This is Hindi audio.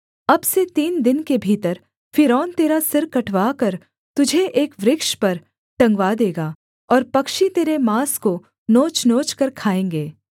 अब से तीन दिन के भीतर फ़िरौन तेरा सिर कटवाकर तुझे एक वृक्ष पर टंगवा देगा और पक्षी तेरे माँस को नोचनोच कर खाएँगे